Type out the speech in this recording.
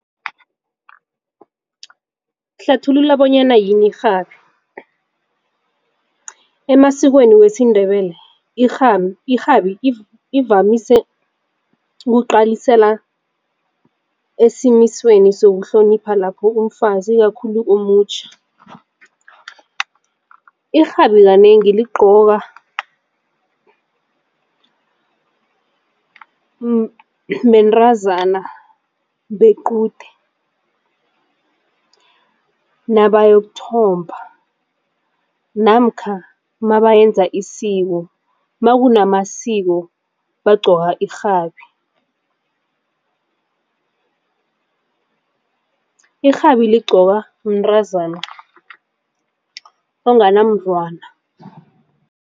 Hlathulula bonyana yini irhabi. Emasikweni wesiNdebele irhabi ivamise ukuqalisela esimisweni sokuhlonipha lapho umfazi kakhulu omutjha. Irhabi kanengi ligqokwa bentazana bequde nabayokuthomba namkha mabayenza isiko makunamasiko bagqoka irhabi. Irhabi ligqokwa mntazana onganamntwana.